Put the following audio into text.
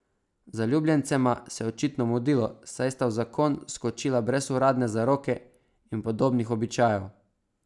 Zaljubljencema se je očitno mudilo, saj sta v zakon skočila brez uradne zaroke in podobnih običajev.